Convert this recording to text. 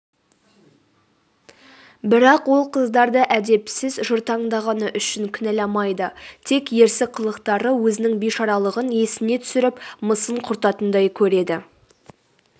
бірақ ол қыздарды әдепсіз жыртаңдағаны үшін кінәламайды тек ерсі қылықтары өзінің бишаралығын есіне түсіріп мысын құртатындай көреді